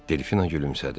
Delfina gülümsədi.